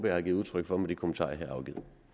jeg har givet udtryk for med de kommentarer